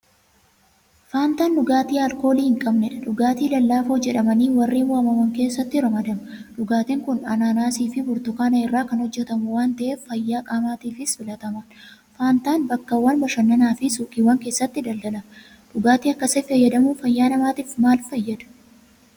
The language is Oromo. Faantaan dhugaatii aalkoolii hinqabnedha. Dhugaatii lallaafoo jedhamanii warreen waamaman keessatti ramadama. Dhugaatiin kun Aanaanaasiifi Burtukaana irraa kan hojjetamu waanta'eef fayyaa qaamaatiifis filatamaadha. Faantaan Bakkeewwan bashannanaafi Suuqiiwwan keessatti daldalama. Dhugaatii akkasii fayyadamuun fayyaa namaatiif maalfayyada?